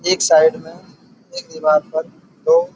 एक साइड में एक दीवार पर दो --